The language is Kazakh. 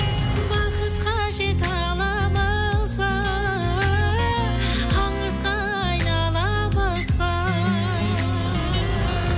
бақытқа жете аламызба аңызға айналамыз ба